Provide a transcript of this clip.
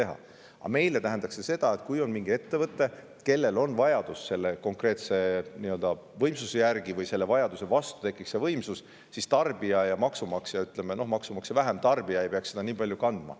Aga meile tähendaks see seda, et kui on mingi ettevõte, kellel on vajadus konkreetse võimsuse järele, siis tarbija ja maksumaksja – no maksumaksja vähem – ei peaks seda nii palju kandma.